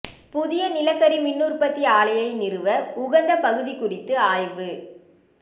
புதிய நிலக்கரி மின்னுற்பத்தி ஆலையை நிறுவ உகந்த பகுதி குறித்து ஆய்வு